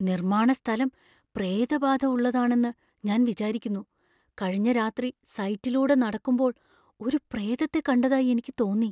നിർമ്മാണ സ്ഥലം പ്രേതബാധ ഉള്ളതാണെന്ന് ഞാൻ വിചാരിക്കുന്നു. കഴിഞ്ഞ രാത്രി സൈറ്റിലൂടെ നടക്കുമ്പോൾ ഒരു പ്രേതത്തെ കണ്ടതായി എനിക്ക് തോന്നി .